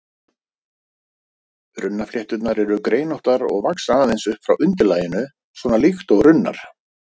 Runnaflétturnar eru greinóttar og vaxa aðeins upp frá undirlaginu, svona líkt og runnar.